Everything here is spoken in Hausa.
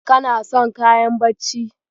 Kana son kayan bacci?